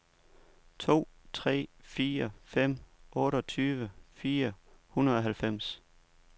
to tre fire fem otteogtyve fire hundrede og halvfems